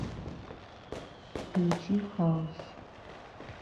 включи хаус